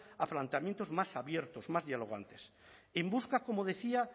a planteamientos más abiertos más dialogantes en busca como decía